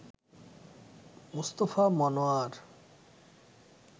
Mustafa Monowar